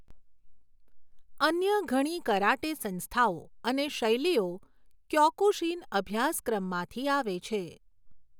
અન્ય ઘણી કરાટે સંસ્થાઓ અને શૈલીઓ ક્યોકુશિન અભ્યાસક્રમમાંથી આવે છે.